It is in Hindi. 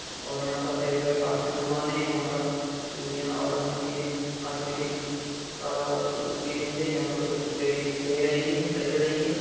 और यहांँ पर सभी प्रकार के कॉस्मेटिक की दुकान है। यहाँ पर चूड़ियां और अन्य चीजें कॉस्मेटिक का चीजें मिलती हैं। यहाँ पर कुछ लेडीज ले रही हैं खरीद रही हैं।